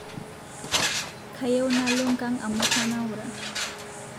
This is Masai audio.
Kayieu nalo nkang amu kainaura